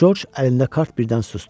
Corc əlində kart birdən susdu.